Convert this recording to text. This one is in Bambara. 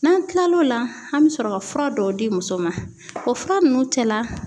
N'an kila l'o la, an be sɔrɔ ka fura dɔw di muso ma. O fura nunnu cɛla